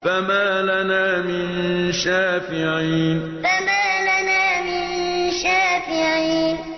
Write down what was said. فَمَا لَنَا مِن شَافِعِينَ فَمَا لَنَا مِن شَافِعِينَ